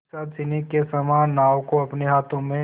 पिशाचिनी के समान नाव को अपने हाथों में